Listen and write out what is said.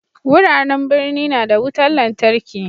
Wuraren birni na da wutar lantarki.